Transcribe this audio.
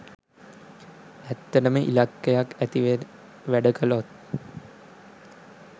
ඇත්තටම ඉලක්කයක් ඇතිව වැඩ කළොත්